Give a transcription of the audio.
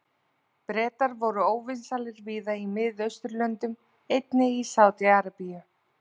Bretar voru óvinsælir víða í Mið-Austurlöndum, einnig í Sádi-Arabíu.